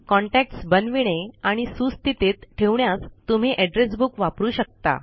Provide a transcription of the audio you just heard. contacts बनविणे आणि सुस्थितीत ठेवण्यास तुम्ही एड्रेस बुक वापरू शकता